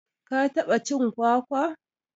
ka taɓa cin kwakwa?